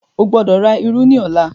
o gbódò rà ìrù ní ọlá!